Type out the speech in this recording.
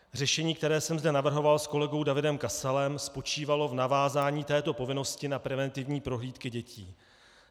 Řešení, které jsem zde navrhovalo s kolegou Davidem Kasalem, spočívalo v navázání této povinnosti na preventivní prohlídky dětí.